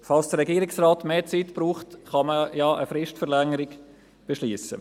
Falls der Regierungsrat mehr Zeit braucht, kann man ja eine Fristverlängerung beschliessen.